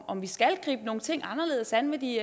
om vi skal gribe nogle ting anderledes an med de